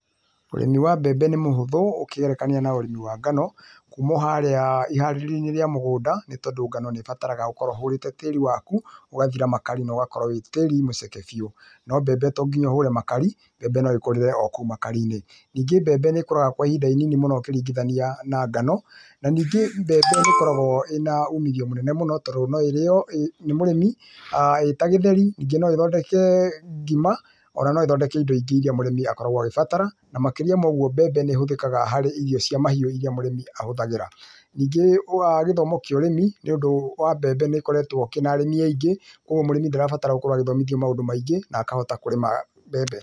Ũrĩmi wa mbembe nĩ mũhũthũ ũkĩgerekania na ũrĩmi wa ngano, kuuma oharĩa iharĩrĩoinĩ rĩa mũgũnda nĩ tondũ ngano nĩbataraga ũkorwe ũhũrĩte tĩri waku ũgathira makari noũkorwe wĩ tĩri mũceke biũ, no mbembe tonginya ũhũre makari mbembe no ĩkũrĩre o kũu makarinĩ. Ningĩ mbembe nĩkũraga kwa ihinda inini mũno ũkĩringithania na ngano naningĩ mbembe ĩkoragwo ĩna umithio mũnene mũno tondũ no ĩrĩo nĩ mũrĩmi ta gĩtheri, ningĩ noĩthondeke ngima ,ona no ĩthondeke indo nyingĩ ĩria mũrĩmĩ akoragwo akĩbatara na makĩria ma ũguo mbembe nĩhũthĩkaga harĩ irio cia mahiũ iria mũrĩmi ahuthagĩra .Ningĩ wa gĩthomo kĩa ũrĩmi nĩũndũ wa mbembe nĩikoretwe kĩna arĩmi aingi ũguo mũrĩmi ndarabatara gũkorwo na maũndũ maingĩ na akahota mbembe.